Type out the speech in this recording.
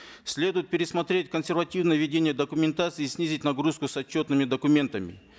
следует пересмотреть консервативное ведение документации снизить нагрузку с отчетными документами